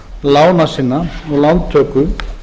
lána sinna og lántöku